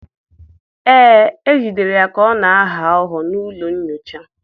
Ee, e jidere ya ka ọ na-aghọ aghụghọ n'ụlọ nyocha.